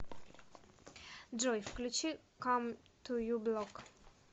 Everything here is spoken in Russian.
джой включи кам ту ю блок